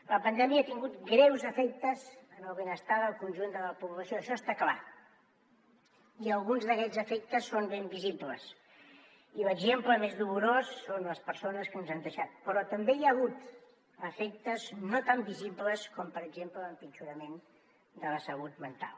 la pandèmia ha tingut greus efectes en el benestar del conjunt de la població això està clar i alguns d’aquests efectes són ben visibles i l’exemple més dolorós són les persones que ens han deixat però també hi ha hagut efectes no tan visibles com per exemple l’empitjorament de la salut mental